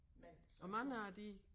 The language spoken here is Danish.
Men sådan som